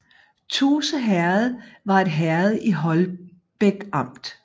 Tuse Herred var et herred i Holbæk Amt